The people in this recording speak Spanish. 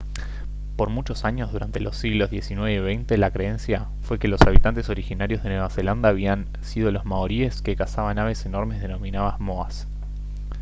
por muchos años durante los siglos xix y xx la creencia fue que los habitantes originarios de nueva zelanda habían sido los maoríes que cazaban aves enormes denominadas moas